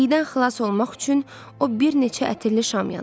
İydən xilas olmaq üçün o bir neçə ətirli şam yandırdı.